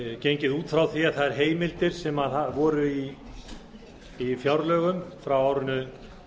gengið út frá því að þær heimildir sem voru í fjárlögum frá árinu